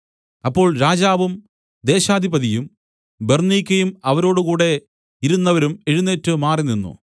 അപ്പോൾ രാജാവും ദേശാധിപതിയും ബെർന്നീക്കയും അവരോടുകൂടെ ഇരുന്നവരും എഴുന്നേറ്റ് മാറിനിന്നു